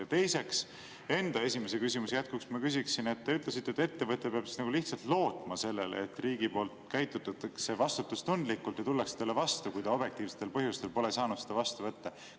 Ja teiseks, enda esimese küsimuse jätkuks ma küsiksin, et te ütlesite, et ettevõte peab lihtsalt lootma sellele, et riigi poolt käitutakse vastutustundlikult ja tullakse talle vastu, kui ta objektiivsetel põhjustel pole saanud vastu võtta.